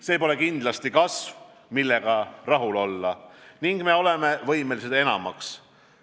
See pole kindlasti kasv, millega rahul olla, ning me oleme võimelised enamaks.